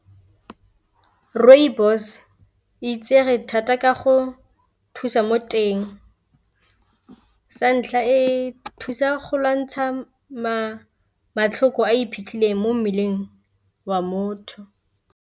Rooibos e itsege thata ka go thusa mo teng, santlha e thusa go lwantsha matlhoko a iphitlhele mo mmeleng wa motho.